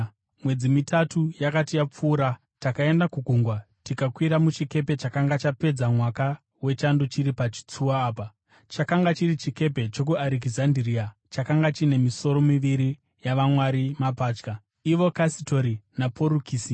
Mwedzi mitatu yakati yapfuura, takaenda kugungwa tikakwira muchikepe chakanga chapedza mwaka wechando chiri pachitsuwa apa. Chakanga chiri chikepe chokuArekizandiria chakanga chine misoro miviri yavamwari mapatya, ivo Kasitori naPorukisi.